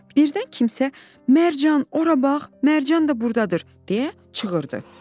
Birdən kimsə "Mərcan, ora bax, Mərcan da buradadır" deyə çığırdı.